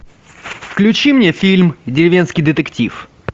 включи мне фильм деревенский детектив